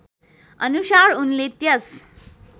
अनुसार उनले त्यस